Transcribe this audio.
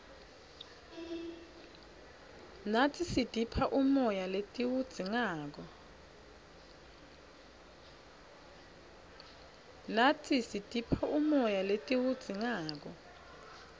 natsi sitipha umoya letiwudzingako